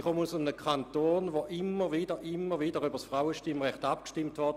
Ich komme aus einem Kanton, in dem immer und immer wieder über das Frauenstimmrecht abgestimmt wurde.